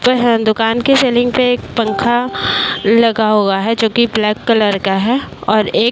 दुकान की सेल्लिंग पे एक पंखा लगा हुआ है जोकि ब्लैक कलर का है और एक --